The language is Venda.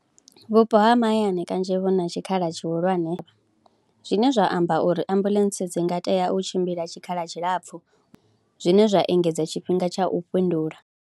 Vhupo ha mahayani kanzhi vhu na tshikhala tshihulwane zwine zwa amba uri ambuḽentse dzi nga tea u tshimbila tshikhala tshilapfhu, zwine zwa engedza tshifhinga tsha u fhindula.